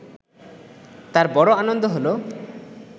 তার বড় আনন্দ হল